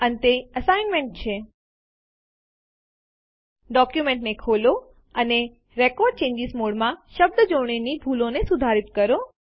અંતે અસાઇનમેંટ છે ડોક્યુમેન્ટને ખોલો અને રેકોર્ડ ચેન્જીસ મોડમાં શબ્દજોડણીની ભૂલોને સુધારીત કરો